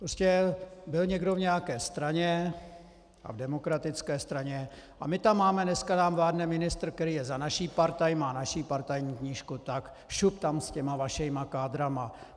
Prostě byl někdo v nějaké straně, a v demokratické straně, a my tam máme, dneska nám vládne ministr, který je za naši partaj, má naši partajní knížku, tak šup tam s těma vašima kádrama.